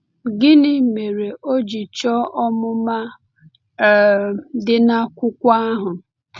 Gịnị mere o ji chọọ ọmụma um dị n’akwụkwọ ahụ?